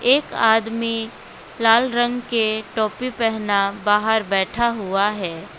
एक आदमी लाल रंग के टोपी पहनाना बाहर बैठा हुआ है।